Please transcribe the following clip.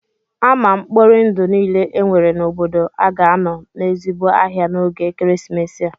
Ama mkpori ndụ niile e nwere n'obodo a ga-anọ n'ezigbo ahịa n'oge ekeresimesi a